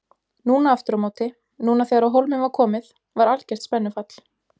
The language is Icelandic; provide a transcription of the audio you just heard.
Núna aftur á móti, núna þegar á hólminn var komið var algert spennufall.